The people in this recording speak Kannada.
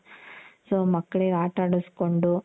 so ಮಕ್ಳಿಗೆ ಆಟ ಆಡುಸ್ಕೊಂಡು